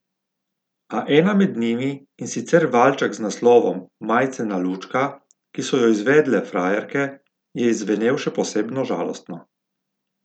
A ena med njimi, in sicer valček z naslovom Majcena lučka, ki so jo izvedle Frajerke, je izzvenel še posebno žalostno.